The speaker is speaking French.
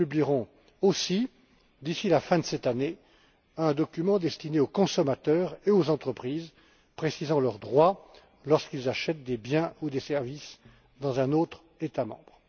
Nous publierons aussi, d'ici la fin de cette année, un document destiné aux consommateurs et aux entreprises, précisant leurs droits lorsqu'ils achètent des biens ou des services dans un autre État membre.